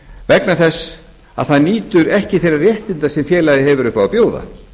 vegna þess að það nýtur ekki þeirra réttinda sem félagið hefur upp á að bjóða